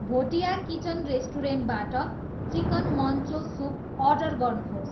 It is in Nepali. भोटिया किचन रेस्टुरेन्टबाट चिकन मन्चो सुप अर्डर गर्नुहोस्